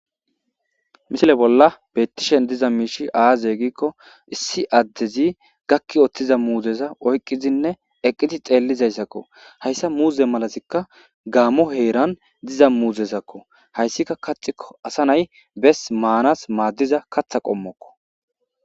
Misile bolla bettishen diza miishi aaze giikko issi addezi gakki oththiza muuzeza oyqqizinne eqqiti xeellizayssakko hayssa muuze malasikka gaammo heeran diza muuzesakko hayssika kaxikko asa nay bes maanas maaddiza katha qommokko.